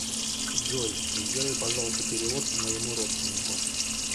джой сделай пожалуйста перевод моему родственнику